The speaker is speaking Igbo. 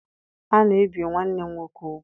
A na-ebi nwanne m nwoke ugwu.